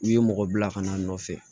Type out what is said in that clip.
N'i ye mɔgɔ bila ka na a nɔfɛ